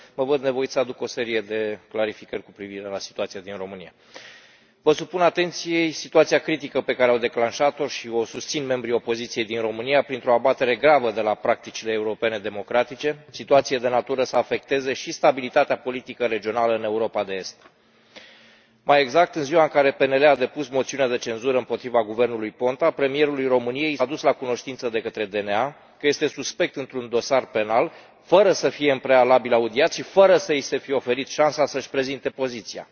Domnule președinte, colegii de la PPE v au dezinformat și din această cauză mă văd nevoit să aduc o serie de clarificări cu privire la situația din România. Vă supun atenției situația critică pe care au declanșat o și o susțin membrii opoziției din România printr o abatere gravă de la practicile europene democratice, situație de natură să afecteze și stabilitatea politică regională în Europa de Est. Mai exact, în ziua care PNL a depus moțiunea de cenzură împotriva guvernului Ponta, premierului României i s a adus la cunoștință de către DNA că este suspect într un dosar penal, fără să fie în prealabil audiat și fără să i se fi oferit șansa să și prezinte poziția.